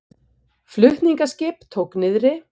Flutningaskip tók niðri